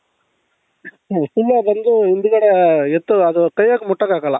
full ಅ ಬಂದು ಹಿಂದ್ಗಡೆ ಎತ್ತು ಅದು ಕೈ ಆಗೇ ಮುಟ್ಟಕ್ಕಾಗಲ್ಲ